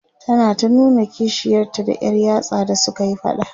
tana ta nuna kishiyarta da Yar yatsa da sukayi faɗa